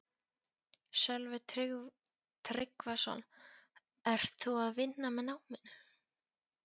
Sölvi Tryggvason: Ert þú að vinna með náminu?